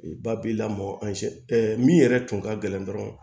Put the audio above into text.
Ba b'i lamɔ min yɛrɛ tun ka gɛlɛn dɔrɔn